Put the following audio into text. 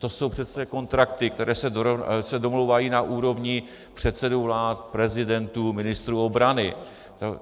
To jsou přece kontrakty, které se domlouvají na úrovni předsedů vlád, prezidentů, ministrů obrany.